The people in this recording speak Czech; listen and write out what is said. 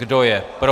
Kdo je pro? -